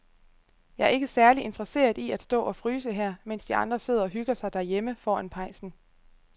Jeg er ikke særlig interesseret i at stå og fryse her, mens de andre sidder og hygger sig derhjemme foran pejsen.